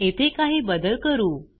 येथे काही बदल करू